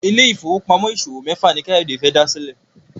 Ile-ifowopamọ ìṣòwò méfà ní Kayode fè dá sílè.